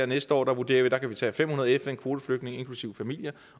næste år vurderer vi kan tage fem hundrede fn kvoteflygtninge inklusive familier